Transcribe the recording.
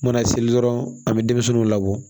Mana seli dɔrɔn an bɛ denmisɛnninw labɔ